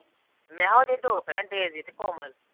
ਵਿਆਹ ਉਹਦੀਆਂ ਦੋ ਭੈਣਾਂ ਡੇਜੀ ਤੇ ਕੋਮਲ।